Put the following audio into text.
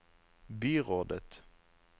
byrådet